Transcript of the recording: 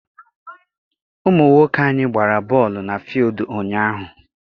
Ụmụ nwoke anyị gbara bọọlụ na fuild ụnyaahụ.